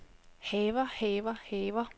haver haver haver